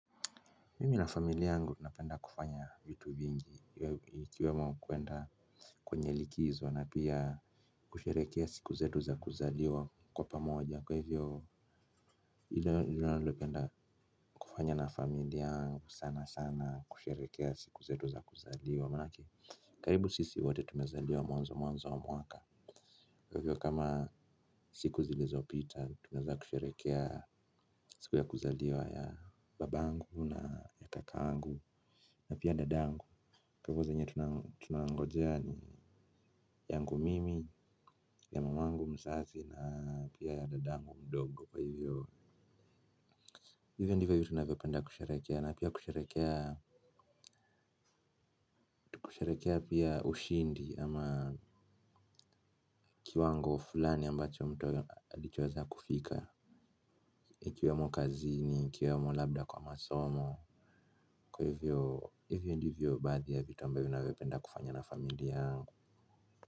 Mimi na familia yangu tunapenda kufanya vitu vingi ikiwemo kwenda kwenye likizo na pia kusherehekea siku zetu za kuzaliwa kwa pamoja kwa hivyo ndilo ninalolipenda kufanya na familia yangu sana sana kusherehekea siku zetu za kuzaliwa maanake karibu sisi wote tumezaliwa mwanzowa mwaka. Kwa hivyo kama siku zilizo pita, tunaweza kusherekea siku ya kuzaliwa ya babangu na ya kakangu. Na pia dadayangu, kwa hivyo zenye tunangojea ni yangu mimi, ya mamangu mzazi na piaya dadangu mdogo kwa hivyo. Hivyo ndivyo tunavyopenda kusherehekea na pia kusherehekea kusherehekea pia ushindi ama kiwango fulani ambacho mtu alichoweza kufika. Ikiwe mo kazini, ikiwe mo labda kwa masomo. Kwa hivyo hivyo ndivyo baadhi ya vituambavyo na vyopenda kufanya na familiayangu.